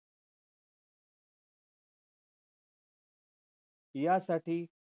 यासाठी